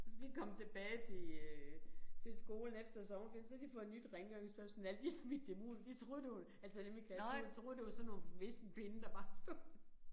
Og så da de kom tilbage til øh til skolen efter sommerferien så havde de fået nyt rengøringspersonale de havde smidt dem ud de troede det var altså dem i klassen de troede det var sådan nogle vissenpinde der bare stod